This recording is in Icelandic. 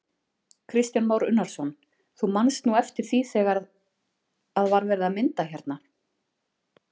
Kristján Már Unnarsson: Þú manst nú eftir því þegar að var verið að mynda hérna?